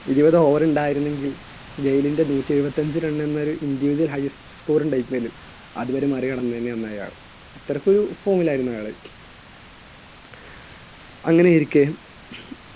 ഇരുപത് over ഉണ്ടായിരുന്നെങ്കിൽ ഗെയിലിന്‍റെ നൂറ്റിഎഴുപത്തഞ്ച് run എന്നൊരു individual highest score . അതുവരെ മറികടന്നേനെ അന്നയാള്‍. അത്രയ്ക്കും form ൽ ആയിരുന്നു അയാള്. അങ്ങനെയിരിക്കെ